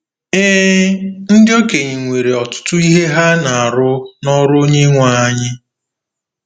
Ee, ndị okenye nwere “ọtụtụ ihe ha na-arụ n’ọrụ Onyenwe anyị .”